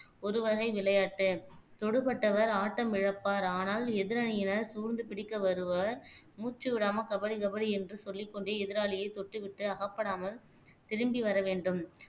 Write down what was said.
ஒரு வகை விளையாட்டு தொடுபட்டவர் ஆட்டம் இழப்பார் ஆனால் எதிரணியினர் சூழ்ந்து பிடிக்க வருவார் மூச்சு விடாம கபடி கபடி என்று சொல்லிக்கொண்டே எதிராளியை தொட்டு விட்டு அகப்படாமல் திரும்பி வர வேண்டும்